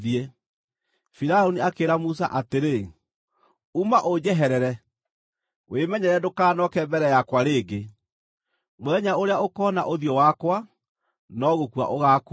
Firaũni akĩĩra Musa atĩrĩ, “Uma, ũnjeherere! Wĩmenyerere ndũkanooke mbere yakwa rĩngĩ! Mũthenya ũrĩa ũkoona ũthiũ wakwa, no gũkua ũgaakua.”